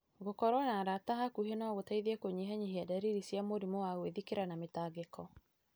Gũkorũo na arata a hakuhĩ no gũteithie kũnyihia ndariri cia mũrimũ wa gwĩthikĩra na mĩtangĩko.